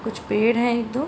कुछ पेड़ हैं एक दो